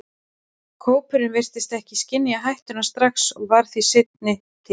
Kópurinn virtist ekki skynja hættuna strax og varð því seinni til.